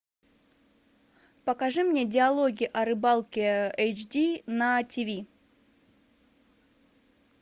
покажи мне диалоги о рыбалке эйч ди на тв